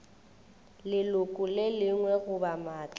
leloko le lengwe goba maatla